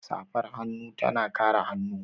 Safar hannu tana kare hannu.